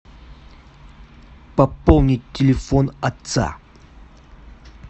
пополнить телефон отца